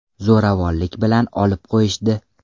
Zo‘ravonlik bilan olib qo‘yishdi.